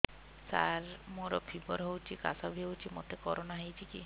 ସାର ମୋର ଫିବର ହଉଚି ଖାସ ବି ହଉଚି ମୋତେ କରୋନା ହେଇଚି କି